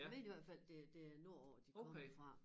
Jeg mener i hvert fald det det er nord på de kommer fra